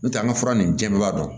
N'o tɛ an ka fura nin jɛkuba dɔn